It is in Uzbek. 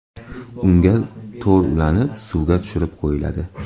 Unga to‘r ulanib, suvga tushirib qo‘yiladi.